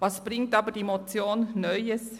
Was bringt die Motion Neues?